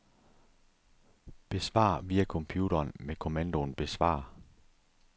Besvar via computeren med kommandoen besvar.